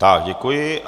Tak děkuji.